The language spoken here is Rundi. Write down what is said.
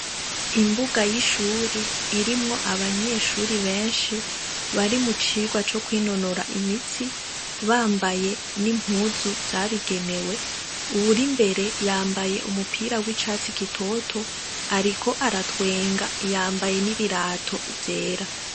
Imbuga y'ishure irimwo abanyeshuri benshi bari mu cirwa co kwinonora imitsi bambaye n'impuzu zabigenewe, uwurimbere yambaye umupira w'icatsi gitoto ariko aratwenga yambaye n'ibirato vyera.